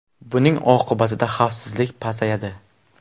Buning oqibatida xavfsizlik pasayadi.